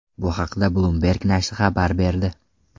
Bu haqda Bloomberg nashri xabar berdi .